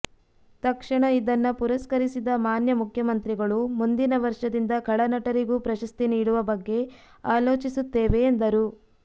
ತಕ್ಷಣ ಇದನ್ನ ಪುರಸ್ಕರಿಸಿದ ಮಾನ್ಯ ಮುಖ್ಯಮಂತ್ರಿಗಳು ಮುಂದಿನ ವರ್ಷದಿಂದ ಖಳನಟರಿಗೂ ಪ್ರಶಸ್ತಿ ನೀಡುವ ಬಗ್ಗೆ ಆಲೋಚಿಸುತ್ತೇವೆ ಎಂದರು